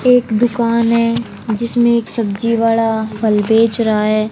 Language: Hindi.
एक दुकान है जिसमें एक सब्जी वाला फल बेच रहा है।